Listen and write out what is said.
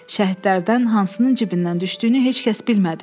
Şəhidlərdən hansının cibindən düşdüyünü heç kəs bilmədi.